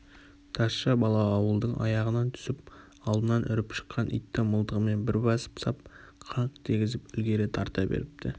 тазша бала ауылдың аяғынан түсіп алдынан үріп шыққан итті мылтығымен бір басып сап қаңқ дегізіп ілгері тарта беріпті